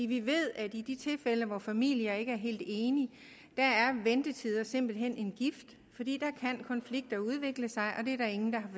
vi ved at i de tilfælde hvor familier ikke er helt enige er ventetiden simpelt hen en gift fordi der kan konflikter udvikle sig og det er der ingen der